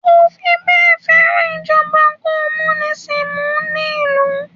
kò fibẹ́e feran ijoba komunisimu ni ilu